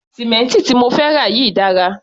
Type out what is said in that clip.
Sì̀mẹ́ǹtì tí mo fẹ́ rà yìí dára.